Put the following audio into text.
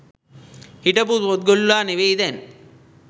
හිටපු පොත්ගුල්ලා නෙවෙයි දැන්